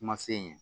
Kuma se ɲɛ